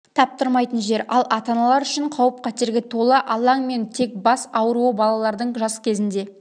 таптырмайтын жер ал ата-аналар үшін қауіп-қатерге толы алаң мен тек бас ауруы балалардың жаз кезінде